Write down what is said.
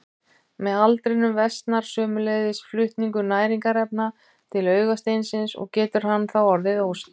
Með aldrinum versnar sömuleiðis flutningur næringarefna til augasteinsins og getur hann þá orðið óskýr.